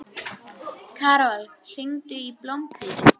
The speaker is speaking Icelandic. Karol, hringdu í Blómhvíti.